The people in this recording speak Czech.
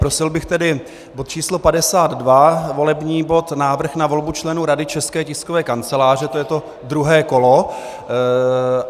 Prosil bych tedy bod číslo 52, volební bod, Návrh na volbu členů Rady České tiskové kanceláře, to je to druhé kolo.